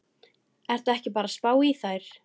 Ertu ekki bara að spá í þær?